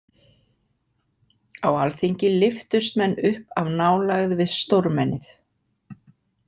Á alþingi lyftust menn upp af nálægð við stórmennið.